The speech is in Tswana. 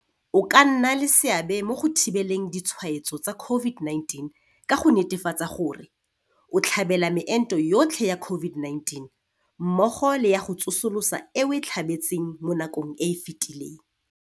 O ka nna le seabe mo go thibeleng ditshwaetso tsa COVID-19 ka go netefatsa gore - O tlhabela meento yotlhe ya COVID-19, mmogo le ya go tsosolosa e o e tlhabetseng mo nakong e e fetileng.